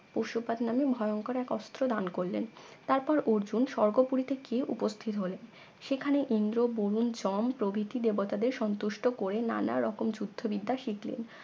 পশুপাত নামে এক ভয়ংকর এক অস্ত্র দান করলেন তারপর অর্জুন স্বর্গপুরীতে গিয়ে উপস্থিত হলেন সেখানে ইন্দ্র বরুণ জম প্রভৃতি দেবতাদের সন্তুষ্ট করে নানারকম যুদ্ধবিদ্যা শিখলেন